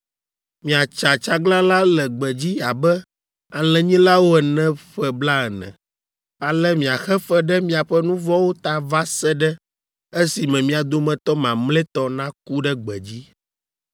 Miatsa tsaglalã le gbedzi abe alẽnyilawo ene ƒe blaene. Ale miaxe fe ɖe miaƒe nu vɔ̃wo ta va se ɖe esime mia dometɔ mamlɛtɔ naku ɖe gbedzi.